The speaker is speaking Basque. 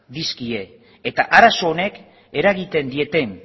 dizkie eta arazo honek eragiten dieten